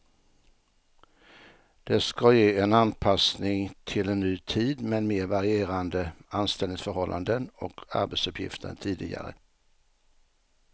Det ska ge en anpassning till en ny tid med mer varierande anställningsförhållanden och arbetsuppgifter än tidigare.